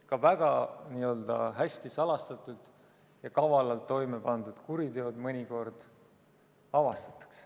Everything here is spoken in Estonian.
Ka väga hästi salastatud ja kavalalt toime pandud kuriteod mõnikord avastatakse.